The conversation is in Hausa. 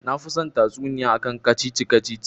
Nafi son tatsuniya akan kacici-kacici